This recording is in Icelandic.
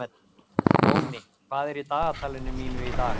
Nóni, hvað er í dagatalinu mínu í dag?